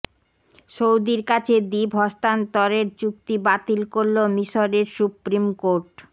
সৌদির কাছে দ্বীপ হস্তান্তরের চুক্তি বাতিল করল মিশরের সুপ্রিম কোর্ট